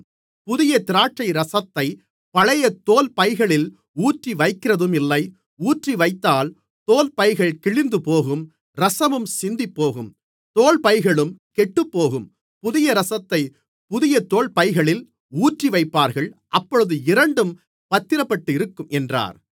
புதிய திராட்சைரசத்தைப் பழைய தோல் பைகளில் ஊற்றிவைக்கிறதும் இல்லை ஊற்றிவைத்தால் தோல் பைகள் கிழிந்துபோகும் இரசமும் சிந்திப்போகும் தோல் பைகளும் கெட்டுப்போகும் புதிய இரசத்தைப் புதிய தோல் பைகளில் ஊற்றிவைப்பார்கள் அப்பொழுது இரண்டும் பத்திரப்பட்டிருக்கும் என்றார்